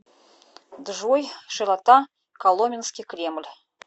джой широта коломенский кремль